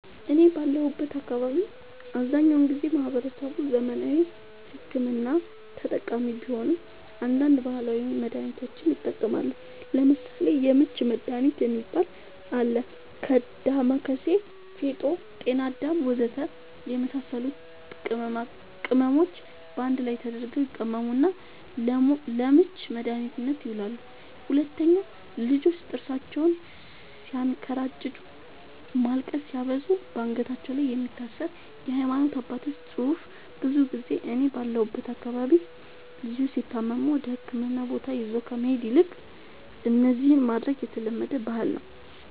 እኔ ባለሁበት አካባቢ አብዛኛውን ጊዜ ማህበረሰቡ ዘመናዊ ሕክምና ተጠቃሚ ቢሆንም አንዳንድ ባህላዊ መድሃኒቶችንም ይጠቀማሉ ለምሳሌ:- የምች መድሃኒት የሚባል አለ ከ ዳማከሲ ፌጦ ጤናአዳም ወዘተ የመሳሰሉት ቅመሞች ባንድ ላይ ተደርገው ይቀመሙና ለምች መድኃኒትነት ይውላሉ 2, ልጆች ጥርሳቸውን ስያንከራጭጩ ማልቀስ ሲያበዙ ባንገታቸው ላይ የሚታሰር የሃይማኖት አባቶች ፅሁፍ ብዙ ጊዜ እኔ ባለሁበት አካባቢ ልጆች ሲታመሙ ወደህክምና ቦታ ይዞ ከመሄድ ይልቅ እነዚህን ማድረግ የተለመደ ባህል ነዉ